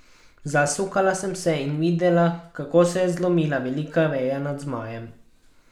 Zasukala sem se in videla, kako se je zlomila velika veja nad Zmajem.